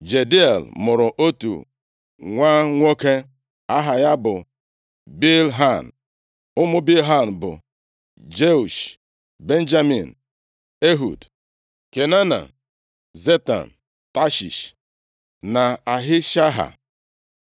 Jediael mụrụ otu nwa nwoke: aha ya bụ Bilhan. Ụmụ Bilhan bụ Jeush, Benjamin, Ehud, Kenaana, Zetan, Tashish na Ahishaha.